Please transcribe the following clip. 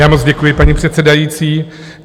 Já moc děkuji, paní předsedající.